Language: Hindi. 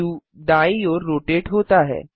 व्यू दायीं ओर रोटेट होता है